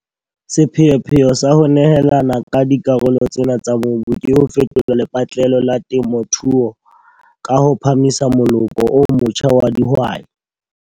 Sepheopheo sa ho nehelana ka dikarolo tsena tsa mobu ke ho fetola lepatlelo la temothuo ka ho phahamisa moloko o motjha wa dihwai.